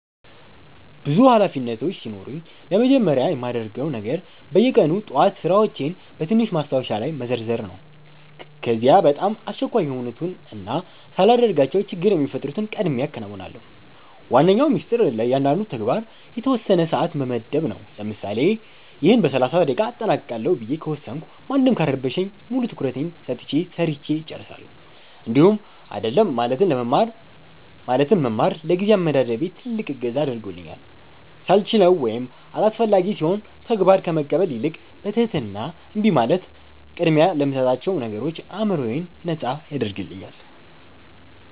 ብዙ ኃላፊነቶች ሲኖሩኝ ለመጀመሪያ የማደርገው ነገር በየቀኑ ጠዋት ሥራዎቼን በትንሽ ማስታወሻ ላይ መዘርዘር ነው። ከዚያ በጣም አስቸኳይ የሆኑትንና ሳላደርጋቸው ችግር የሚፈጥሩትን ቀድሜ አከናውናለሁ። ዋነኛው ሚስጥር ለእያንዳንዱ ተግባር የተወሰነ ሰዓት መመደብ ነው፤ ለምሳሌ "ይህን በ30 ደቂቃ አጠናቅቃለሁ" ብዬ ከወሰንኩ ማንም ካልረበሸኝ ሙሉ ትኩረቴን ሰጥቼ ሰርቸ እጨርሳለሁኝ። እንዲሁም "አይደለም" ማለትን መማር ለጊዜ አመዳደቤ ትልቅ እገዛ አድርጎልኛል፤ ሳልችለው ወይም አላስፈላጊ ሲሆን ተግባር ከመቀበል ይልቅ በትህትና እምቢ ማለት ቅድሚያ ለምሰጣቸው ነገሮች አዕምሮዬን ነጻ ያደርግልኛል።